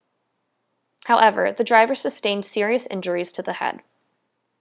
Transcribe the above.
however the driver sustained serious injuries to the head